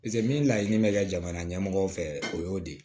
paseke min laɲini be kɛ jamana ɲɛmɔgɔw fɛ o y'o de ye